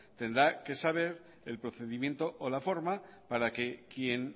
tendrá que saber el procedimiento o la forma para que quien